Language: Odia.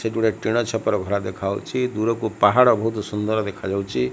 ସେଠି ଗୋଟେ ଟିଣ ଛପର ଘର ଦେଖାଯାଉଛି ଦୂରକୁ ପାହାଡ ବହୁତ ସୁନ୍ଦର ଦେଖାଯାଉଛି।